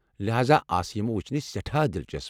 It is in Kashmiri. لہاذا آسہ یم وٗچھنہِ سٮ۪ٹھاہ دِلچسپ۔